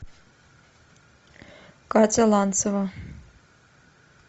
катя ланцева